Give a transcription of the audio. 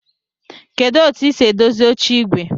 Kedu otu esi edozi oche igwe?